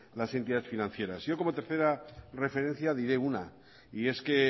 las entidades financieras yo como tercera referencia diré una y es que